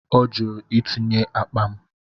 Ọ jụrụ itinye akpa m.